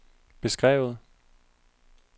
beskrevet